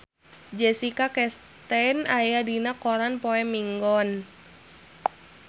Jessica Chastain aya dina koran poe Minggon